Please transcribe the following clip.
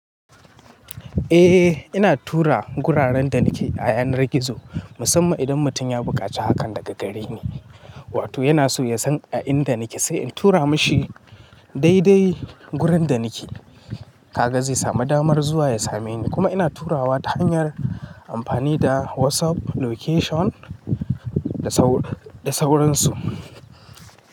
Eh, ina tura guraren da nake a yanar gizo. Musamman idan mutum ya buƙaci hakan daga gare ni, wato yana so ya san a inda nake sai in tura mashi daidai gurin da nake. Kaga zai samu damar zuwa ya same ni. Kuma ina turawa ta hanyar amfani da WhatsApp location da sauransu.